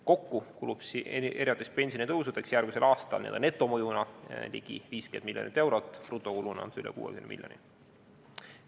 Kokku kulub pensionitõusudeks järgmisel aastal n-ö netomõjuna ligi 50 miljonit eurot, brutokuluna on see üle 60 miljoni.